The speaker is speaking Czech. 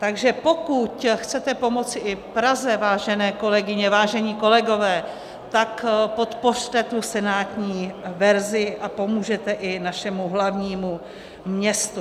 Takže pokud chcete pomoci i Praze, vážené kolegyně, vážení kolegové, tak podpořte tu senátní verzi a pomůžete i našemu hlavnímu městu.